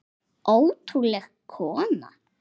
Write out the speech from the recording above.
Ótrúleg kona.